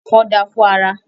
Ẹfọ da fún ara.